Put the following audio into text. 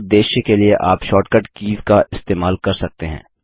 इस उद्देश्य के लिए आप शॉर्ट कट कीज़ का इस्तेमाल कर सकते हैं